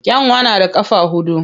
Kyanwa na da ƙafa huɗu.